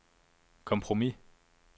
kompromis